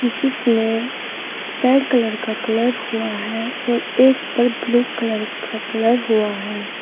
जिसमें red colour का colour हुआ है और एक पर ब्लू कलर का कलर हुआ है।